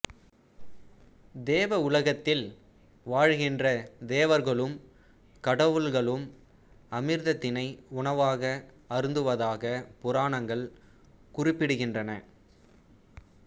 தேவ உலகத்தில் வாழுகின்ற தேவர்களும் கடவுள்களும் அமிர்தத்தினை உணவாக அருந்துவதாக புராணங்கள் குறிப்பிடுகின்றன